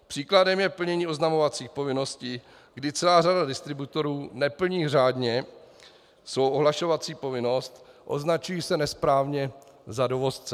Příkladem je plnění oznamovacích povinností, kdy celá řada distributorů neplní řádně svou ohlašovací povinnost, označují se nesprávně za dovozce.